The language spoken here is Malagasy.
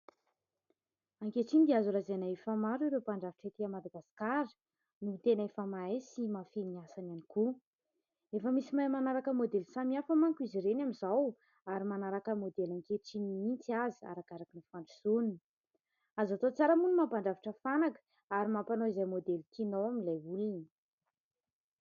Ankehitriny dia azo lazaina efa maro ireo mpandrafitra ety Madagasikara. No tena efa mahay sy mahafehy ny asany ihany koa. Efa misy mahay manaraka modely samihafa manko izy ireny amin'izao ary manaraka modely ankehitriny mihitsy aza arakaraka ny fandrosoany.o Azo atao tsara moa ny mampandrafitra fanaka ary mampanao izay modely tianao amin'ilay olona.